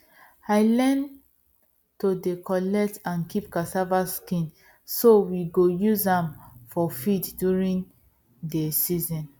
i learn to dey collect and keep cassava skin so we go use am for feed during dey season